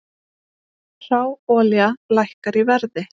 Hráolía lækkar í verði